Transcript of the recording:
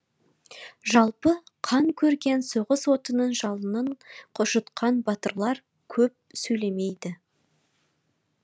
жалпы қан көрген соғыс отының жалынын жұтқан батырлар көп сөйлемейді